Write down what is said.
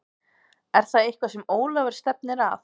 Er það eitthvað sem Ólafur stefnir að?